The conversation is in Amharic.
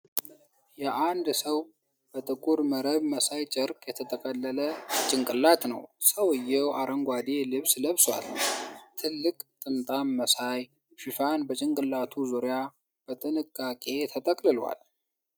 የአንድ ሰው በጥቁር መረብ መሳይ ጨርቅ የተጠቀለለ ጭንቅላት ነው። ሰውየው አረንጓዴ ልብስ ለብሷል፣ ትልቅ ጥምጣም መሳይ ሽፋን በጭንቅላቱ ዙሪያ በጥንቃቄ ተጠቅልሏል።